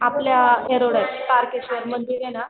आपल्या एरोल्यात तारकेश्वर मंदिरे ना